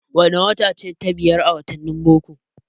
Wane wata ce ta biyar a wattanin boko?